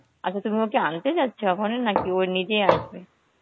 আচ্ছা তুমি ওকে আনতে যাচ্ছ এখন নাকি ওই নিজে আসবে?